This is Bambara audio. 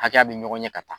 Hakɛya bɛ ɲɔgɔn ɲɛ ka taa